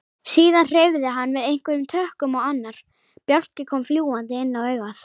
Síðan hreyfði hann við einhverjum tökkum og annar bjálki kom fljúgandi inn á augað.